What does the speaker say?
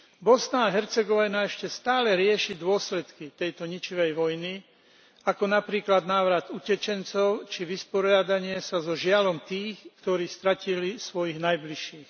Bosna a Hercegovina ešte stále rieši dôsledky tejto ničivej vojny, ako napríklad návrat utečencov či vysporiadanie sa so žiaľom tých, ktorí stratili svojich najbližších.